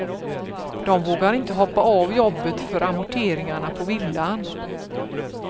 De vågar inte hoppa av jobbet för amorteringarna på villan.